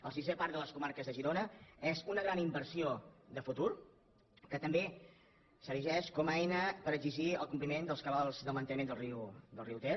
el sisè parc de les comarques de girona és una gran inversió de futur que també s’erigeix com a eina per exigir el compliment dels cabals de manteniment del riu ter